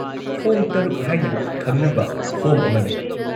-Form ꯶ ꯍꯥꯏꯅ ꯈꯪꯅꯕ form ꯑꯃ ꯂꯩ ꯫